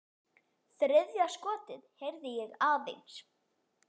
Þriðja skotið heyrði ég aðeins.